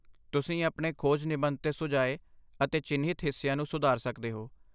ਤੁਸੀਂ ਆਪਣੇ ਖੋਜ ਨਿਬੰਧ 'ਤੇ ਸੁਝਾਏ ਅਤੇ ਚਿੰਨ੍ਹਿਤ ਹਿੱਸਿਆਂ ਨੂੰ ਸੁਧਾਰ ਸਕਦੇ ਹੋ।